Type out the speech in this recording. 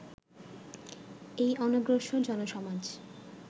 এই অনগ্রসর জনসমাজ